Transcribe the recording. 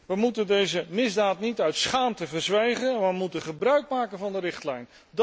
Wij moeten deze misdaad niet uit schaamte verzwijgen, maar wij moeten gebruikmaken van de richtlijn.